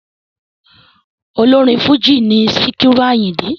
Ọlọ́rin Fújì in Síkírù Àyìndé.